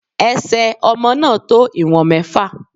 Ẹ̀sẹ̀ ọmọ náà tó ìwọ̀n mẹ́fà.